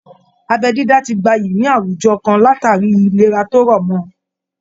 Abẹ́ dídá ti gbayì ní àwọn àwùjọ kan látàrí ìlera tó rọ̀ mọ